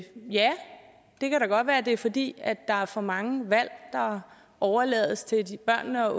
det kan da godt være at det er fordi der er for mange valg der overlades til børnene og